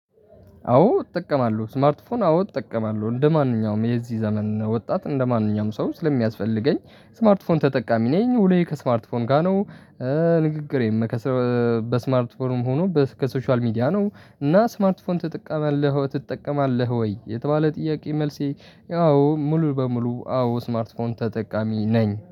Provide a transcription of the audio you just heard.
አዎ እጠቀማለሁ ስማርት ፎን አዎ እጠቀማለሁ እንደማንኛውም የዚህ ዘመን ወጣት እንደማንኛውም ሰው ስለሚያስፈልገኝ ስማርት ስልክ ተጠቃሚ ነኝ ውሎየ ከስማርት ፎን ጋር ነው። ንግግሬም በስማርት ሆኖ ከሶሻል ሚዲያ ነው። እና ስማርት ፎን ትጠቀማለህ ትጠቀማለህ ወይ? የተባለ ጥያቄ መልሴ ያው ሙሉ በሙሉ አዎ ስማርት ፎን ተጠቃሚ ነኝ